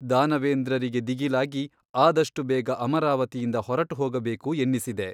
ದಾನವೇಂದ್ರರಿಗೆ ದಿಗಿಲಾಗಿ ಆದಷ್ಟು ಬೇಗ ಅಮರಾವತಿಯಿಂದ ಹೊರಟುಹೋಗಬೇಕು ಎನ್ನಿಸಿದೆ.